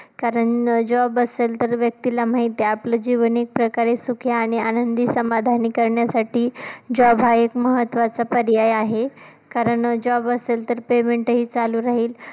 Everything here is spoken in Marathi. कारण job असेल तर व्यक्तीला माहिती आहे. आपलं जीवन एक प्रकारे सुखी आहे आणि आनंदी समाधानी करण्यासाठी job हा एक महत्वाचा पर्याय आहे, कारण job असेल तर payment हि चालू राहील.